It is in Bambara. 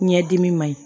Ɲɛdimi ma ɲi